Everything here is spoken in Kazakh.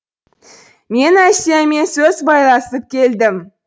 мен әсиямен сөз байласып келдім